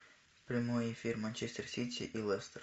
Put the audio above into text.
прямой эфир манчестер сити и лестер